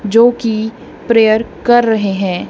जो की प्रेयर कर रहे हैं।